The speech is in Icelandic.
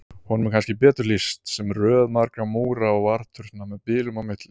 Honum er kannski betur lýst sem röð margra múra og varðturna með bilum á milli.